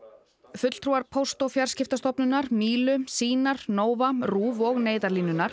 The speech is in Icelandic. fulltrúar Póst og fjarskiptastofnunar Mílu sýnar Nova RÚV og Neyðarlínunnar